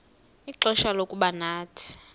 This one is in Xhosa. ixfsha lokuba nathi